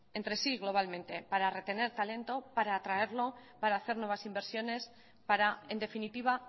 entre sí globalmente para retener talento para atraerlo para hacer nuevas inversiones para en definitiva